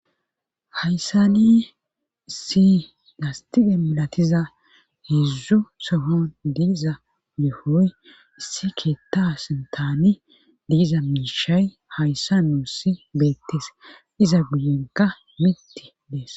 Hayssani issi gastide milatiza heezdzu sohon diiza yohoy issi keetta sintaani diiza miishay hayssa nuusi beettees iza guyenka mitti dees